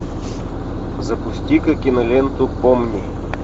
запусти ка киноленту помни